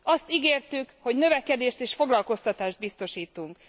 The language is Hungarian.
Azt ígértük, hogy növekedést és foglalkoztatást biztosítunk.